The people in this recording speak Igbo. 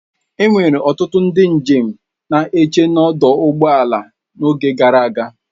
Enwere ọtụtụ ndị njem na-eche n'ọdụ ụgbọ ala n'oge gara aga.